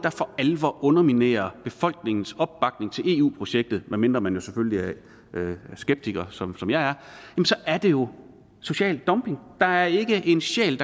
alvor underminerer befolkningens opbakning til eu projektet medmindre man jo selvfølgelig er skeptiker som som jeg er så er det jo social dumping der er ikke en sjæl